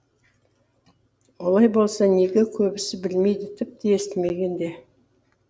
олай болса неге көбісі білмейді тіпті естімеген де